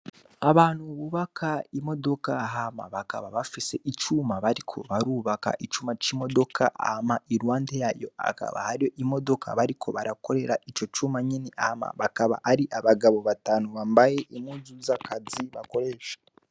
Abantu mububaka imodoka hama bakaba bafise icuma bariko barubaka icuma c'imodoka ama ilwande yayo akaba haro imodoka bariko barakorera ico cuma nyeni ama bakaba ari abagabo batanu bambaye imwuzu zakazi bakoresha.